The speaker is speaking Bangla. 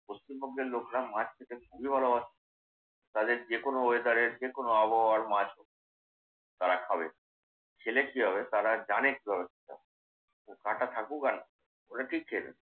পশ্চিমবঙ্গের লোকেরা মাছ খেতে খুবই ভালোবাসে। তাদের যে কোন ওয়েদারের এর যেকোন আবহাওয়ার মাছ হোক তারা খাবে। খেলে কি হবে তারা জানে কিভাবে খেতে হয়। কাঁটা থাকুক আর না থাকুক। ওরা ঠিক খেয়ে নেবে।